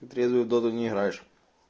ты трезвый в доту не играешь